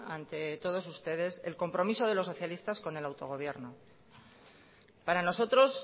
ante todos ustedes el compromiso de los socialistas con el autogobierno para nosotros